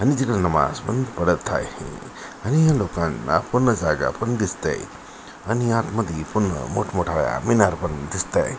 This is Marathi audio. आणि तिकड नमाज पण पढत आहे आणि या लोकांना पूर्ण जागा पण दिसतय आणि आतमधि पुन्हा मोठमोठाल्या मीनार पण दिसतय.